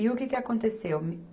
E o que que aconteceu?